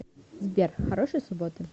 сбер хорошей субботы